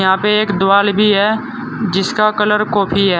यहां पे एक दीवाल भी है जिसका कलर कॉफी है।